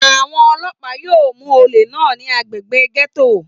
Àwọn ọlọ́pàá yíò mú olè náà ní agbègbè gẹ́tò